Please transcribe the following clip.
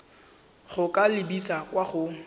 go ka lebisa kwa go